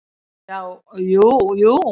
Já, jú jú.